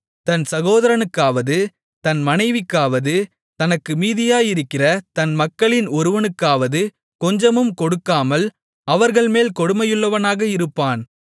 தன் சகோதரனுக்காவது தன் மனைவிக்காவது தனக்கு மீதியாயிருக்கிற தன் மக்களின் ஒருவனுக்காவது கொஞ்சமும் கொடுக்காமல் அவர்கள்மேல் கொடுமையுள்ளவனாக இருப்பான்